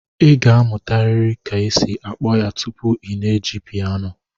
Ị ga-amụtarịrị ka esi akpọ ya tupu ị na-eji piano